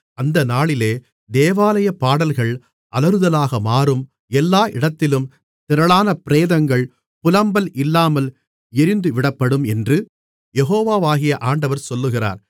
அந்த நாளிலே தேவாலயப் பாடல்கள் அலறுதலாக மாறும் எல்லா இடத்திலும் திரளான பிரேதங்கள் புலம்பல் இல்லாமல் எறிந்துவிடப்படும் என்று யெகோவாகிய ஆண்டவர் சொல்லுகிறார்